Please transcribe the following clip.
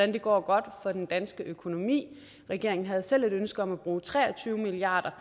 det går for den danske økonomi regeringen havde selv et ønske om at bruge tre og tyve milliard